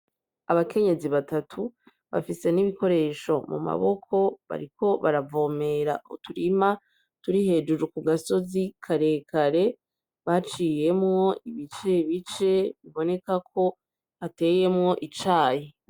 Abakenyezi batatu, bafise n'ibikoresho mu maboko bariko baravomera uturima turi hejuru ku gasozi karekare baciyemwo ibicebice biboneka ko hateyemwo icayi.